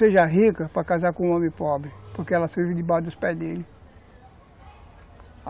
seja rica para casar com um homem pobre, porque ela serve debaixo dos pés dele.